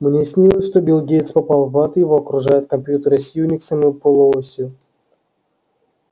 мне снилось что билл гейтс попал в ад и его окружают компьютеры с юниксом и полуосью